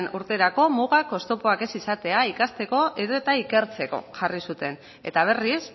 urterako mugak oztopoak ez izatea ikasteko edo eta ikertzeko jarri zuten eta berriz